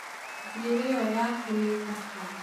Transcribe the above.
Njuĩrĩ ĩyo yaku nĩ thaka